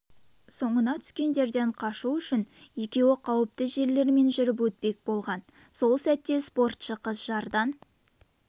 соңына түскендерден қашу үшін екеуі қауіпті жерлермен жүріп өтпек болған сол сәтте спортшы қыз жардан